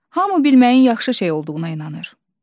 Hamı bilməyin yaxşı şey olduğuna inanır.